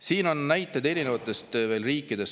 Siin on veel näiteid erinevatest riikidest.